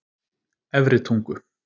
Efri Tungu